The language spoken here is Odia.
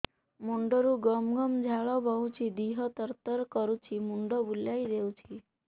ମୁଣ୍ଡରୁ ଗମ ଗମ ଝାଳ ବହୁଛି ଦିହ ତର ତର କରୁଛି ମୁଣ୍ଡ ବୁଲାଇ ଦେଉଛି